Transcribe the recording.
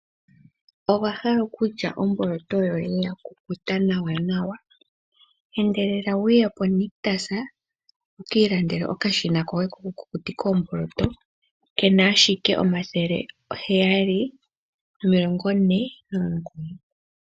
Owa hala okulya omboloto yakukuta nawanawa, endelela wuye po nictus wukii landele okashina koye koku kukutika oomboloto kena ashike N$ 749.